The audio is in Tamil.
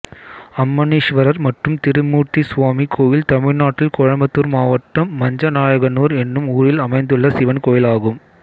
அம்மணீஸ்வரர் மற்றும் திருமூர்த்திசுவாமி கோயில் தமிழ்நாட்டில் கோயம்புத்தூர் மாவட்டம் மஞ்சநாயக்கனூர் என்னும் ஊரில் அமைந்துள்ள சிவன் கோயிலாகும்